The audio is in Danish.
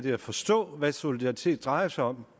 at forstå hvad solidaritet drejer sig om